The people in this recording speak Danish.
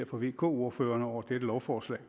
fra vk ordførerne over dette lovforslag